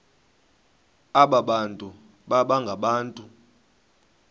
abantu baba ngabantu